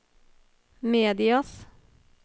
medias